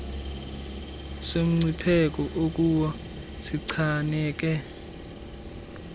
somncipheko okuwo sichaneke